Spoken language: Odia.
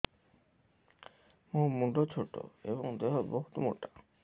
ମୋ ମୁଣ୍ଡ ଛୋଟ ଏଵଂ ଦେହ ବହୁତ ମୋଟା